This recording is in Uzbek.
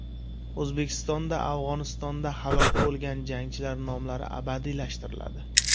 O‘zbekistonda Afg‘onistonda halok bo‘lgan jangchilar nomlari abadiylashtiriladi.